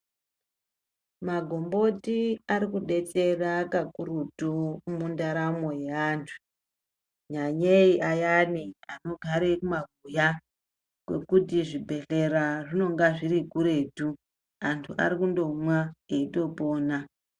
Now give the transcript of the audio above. Magomboti arikudetsera kakurutu mundaramo yeandu kunyanyei ayani anogare kumabuya kwekuti zvibhedhlera zvinonga zvirikuretu antu arikundomwa eitopora.